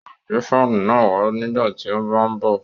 Yóò gbé fáànù náà wá nígbà tí ó bá ń bọ̀